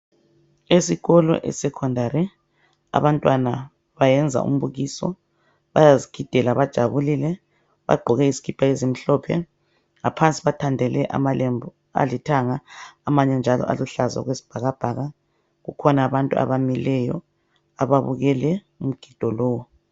Esikolo esekhondari abantwana bayenza umbukiso bayazigidela bajabulile. Bagqoke izikipa ezimhlophe ngaphansi bathandele amalembu alithanga amanye njalo aluhlaza okwesibhakabhaka. Kukhona abantu abamileyo ababukeke umgido lowo